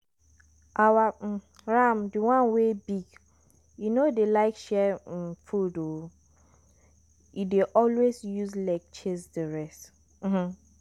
our um ram de one wey big e no dey like share um food o e dey alway use leg chase the rest. um